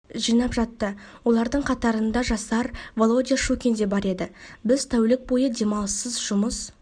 жинап жатты олардың қатарында жасар володя щукин де бар еді біз тәулік бойы демалыссыз жұмыс